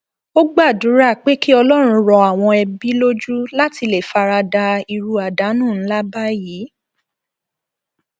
ó gbàdúrà pé kí ọlọrun rọ àwọn ẹbí lójú láti lè fara da irú àdánù ńlá báyìí